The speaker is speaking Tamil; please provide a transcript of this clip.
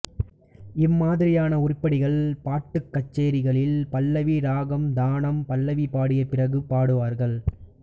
இம்மாதிரியான உருப்படிகள் பாட்டுக் கச்சேரிகளில் பல்லவி இராகம் தானம் பல்லவி பாடிய பிறகு பாடுவார்கள்